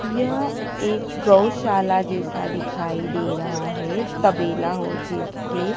यह एक गौशाला जैसा दिखाई दे रहा है तबेला हो जैसे--